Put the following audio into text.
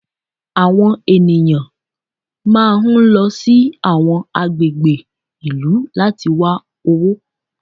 Àwọn ènìyàn máa ń lọ sí àwọn agbègbè ìlú láti wá owó.